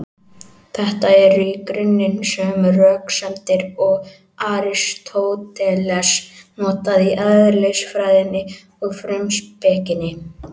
Þetta eru í grunninn sömu röksemdir og Aristóteles notaði í Eðlisfræðinni og Frumspekinni.